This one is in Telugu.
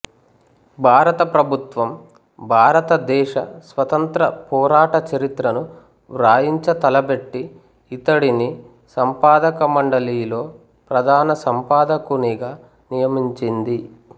భారత ప్రభుత్వం భారత దేశ స్వతంత్ర పోరాట చరిత్రను వ్రాయించ తలపెట్టి ఇతడిని సంపాదకమండలిలో ప్రధాన సంపాదకునిగా నియమించింది